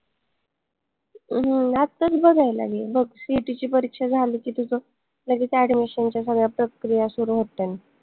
हम्म आताच बघायला घे मग CET ची परीक्षा झाली की तुझं लगेच admission च्या सगळ्या प्रक्रिया सुरु होतन